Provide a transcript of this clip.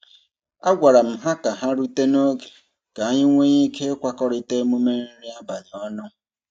A gwara m ha ka ha rute n'oge ka anyị nwee ike ịkwakọrita emume nri abalị ọnụ.